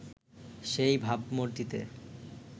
সেই ভাবমূর্তিতে